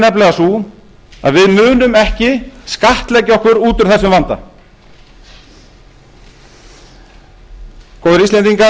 nefnilega sú að við munum ekki skattleggja okkur út úr þessum vanda góðir